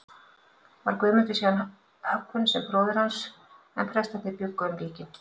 Var Guðmundur síðan höggvinn sem bróðir hans, en prestarnir bjuggu um líkin.